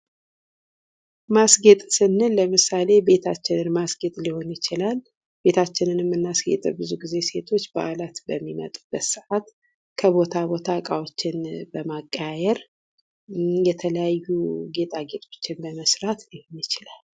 ማስጌጥ ስንል ለምሳሌ ቤታችን ማስኬጌጥ ሊሆን ይችላል፤ ቤታችንንም ምናስጌጠው ብዙ ጊዜ ሴቶች በዓላት በሚመጡበት ሰአት ከቦታ ቦታ ዕቃዎችን በማቀያየር የተለያዩ ጌጣጌጦችን በመሥራት ሊሆን ይችላል።